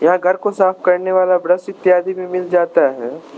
घर को साफ करने वाला ब्रश इत्यादि भी मिल जाता है।